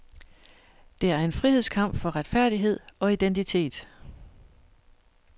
Det er en frihedskamp for retfærdighed og identitet.